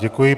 Děkuji.